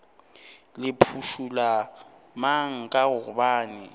le phušula mang ka gobane